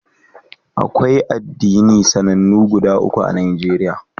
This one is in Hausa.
Akwai addini masun massama guda uku.